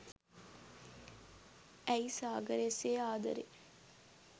ඇයි සාගරය සේ ආදරේ